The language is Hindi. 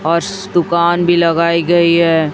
और श दुकान भी लगाई गई है।